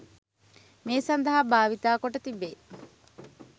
මේ සඳහා භාවිත කොට තිබේ